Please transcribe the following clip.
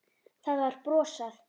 Það var brosað.